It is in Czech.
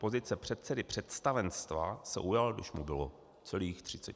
Pozice předsedy představenstva se ujal, když mu bylo celých 36 let.